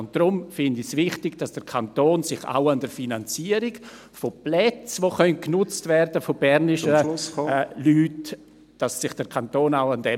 Deshalb finde ich es wichtig, dass der Kanton sich auch an der Finanzierung beteiligt, …… von Plätzen, die von bernischen Leuten genutzt werden können.